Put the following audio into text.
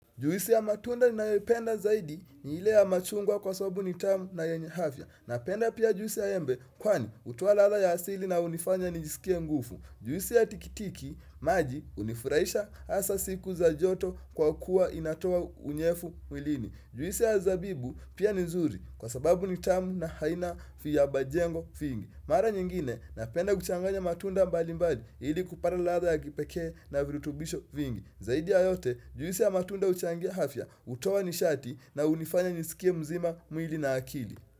Juisi ya matunda ninayoipenda zaidi ni hile ya machungwa kwa sababu ni tamu na yenye hafia Napenda pia jusi ya embe kwani hutowa ladha ya asili na hunifanya nijisikie ngufu Juisi ya tikitiki maji unifuraisha asa siku za joto kwa kuwa inatoa unyefu mwilini Juisi ya zabibu pia ni nzuri kwa sababu ni tamu na haina fiyabajengo fingi Mara nyingine napenda kuchanganya matunda mbali mbali ili kupata ladha ya kipekee na virutubisho vingi Zaidi ya yote, juisi ya matunda uchangia hafya utowa nishati na unifanya nisikie mzima, mwili na akili.